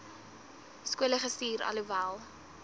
skole gestuur alhoewel